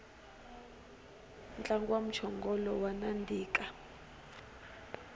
ntlangu wa mchongolo wa nandika